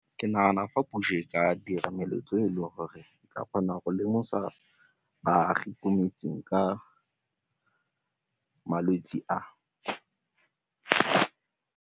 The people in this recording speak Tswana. Ke nagana fa puso e ka dira meletlo e leng gore e ka kgona go lemosa baagi ko metseng ka malwetse a.